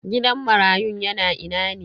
Gidan marayun yana ina ne?